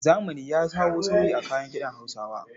Zamani ya kawo sauyi a kayan kiɗan Hausawa.